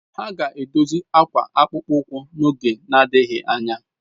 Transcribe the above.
Ha ga-edozi akwa akpụkpọ ụkwụ n'oge na-adịghị anya.